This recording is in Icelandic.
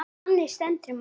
Þannig stendur málið.